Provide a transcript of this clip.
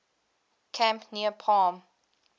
camp near palm